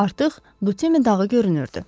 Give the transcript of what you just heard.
Artıq Dutimi dağı görünürdü.